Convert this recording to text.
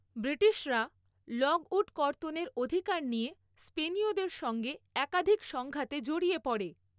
ব্রিটিশরা লগউড কর্তনের অধিকার নিয়ে স্পেনীয়দের সঙ্গে একাধিক সংঘাতে জড়িয়ে পড়ে।